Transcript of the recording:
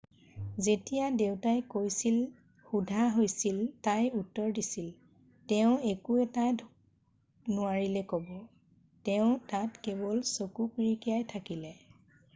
"যেতিয়া দেউতাই কি কৈছিল সোধা হৈছিল তাই উত্তৰ দিছিল "তেওঁ একো এটাই নোৱাৰিলে ক'ব - তেওঁ তাত কেৱল চকু পিৰিকিয়াই থাকিলে'।""